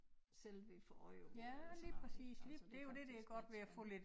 Selv ville få øje på eller sådan noget ik altså det faktisk lidt